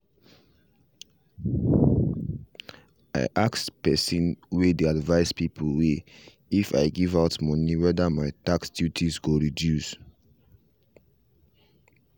i ask person way dey advice people way if i give out money wether my tax duties go reduce.